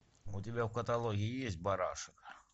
у тебя в каталоге есть барашек